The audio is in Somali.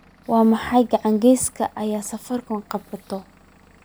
Waa maxay ganacsiga ay safaricom qabato?